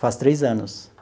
Faz três anos.